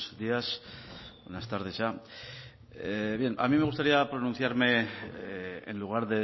días buenas tardes ya a mí me gustaría pronunciarme en lugar